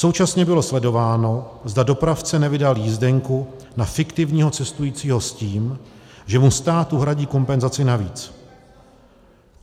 Současně bylo sledováno, zda dopravce nevydal jízdenku na fiktivního cestujícího s tím, že mu stát uhradí kompenzaci navíc.